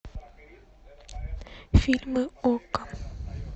фильмы окко